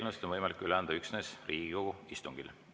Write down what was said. Eelnõusid on võimalik üle anda üksnes Riigikogu istungil.